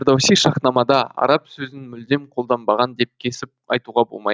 фердоуси шаһнамада араб сөзін мүлдем қолданбаған деп кесіп айтуға болмайды